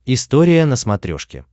история на смотрешке